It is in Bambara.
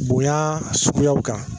Bonya suguyaw kan.